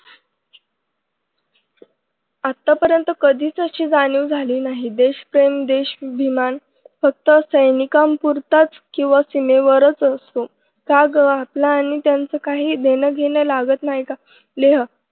आतापर्यंत कधीच अशी जाणीव झाली नाही देशप्रेम देश अभिमान फक्त सैनिकांपुरताच किंवा सीमेवरच असतो का ग आपलं आणि त्यांचं काही देणंघेणं लागत नाही का? लेह